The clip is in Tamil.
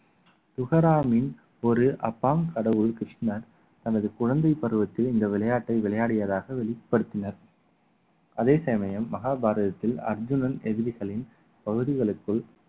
உஹராமின் ஒரு அப்பாம் கடவுள் கிருஷ்ணன் தனது குழந்தை பருவத்தில் இந்த விளையாட்டை விளையாடியதாக வெளிப்படுத்தினர் அதே சமயம் மகாபாரதத்தில் அர்ஜுனன் எதிரிகளின் பகுதிகளுக்குள்